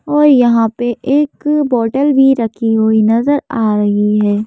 और यहां पे एक बोतल भी रखी हुई नजर आ रही है।